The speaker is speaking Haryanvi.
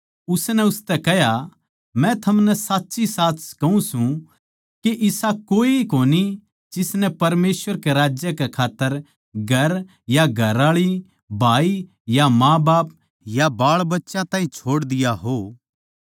उसनै उनतै कह्या मै थमनै साच्चीसाच कहूँ सूं के इसा कोए कोनी जिसनै परमेसवर के राज्य कै खात्तर घर या घरआळी भाई या माँबाप या बाळबच्चे नै छोड़ दिया हो